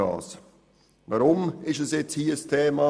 Weshalb ist das nun hier ein Thema?